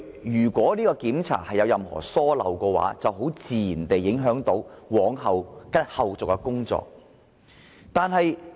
如檢查有任何遺漏的話，必然會影響後續的工作。